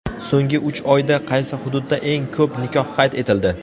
So‘nggi uch oyda qaysi hududda eng ko‘p nikoh qayd etildi?.